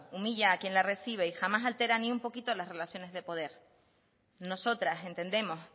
humilla a quien la recibe y jamás altera ni un poquito las relaciones de poder nosotras entendemos